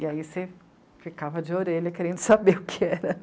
E aí você ficava de orelha querendo saber o que era.